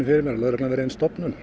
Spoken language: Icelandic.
fyrir mér að lögreglan verði ein stofnun